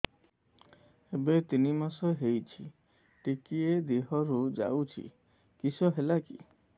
ଏବେ ତିନ୍ ମାସ ହେଇଛି ଟିକିଏ ଦିହରୁ ଯାଉଛି କିଶ ହେଲାକି